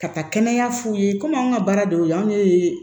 Ka taa kɛnɛya f'u ye komi anw ka baara de y'o ye anw de ye